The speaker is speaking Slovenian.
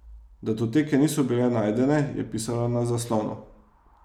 Datoteke niso bile najdene, je pisalo na zaslonu.